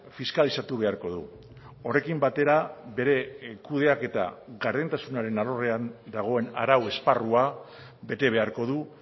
fiskalizatu beharko du horrekin batera bere kudeaketa gardentasunaren alorrean dagoen arau esparrua bete beharko du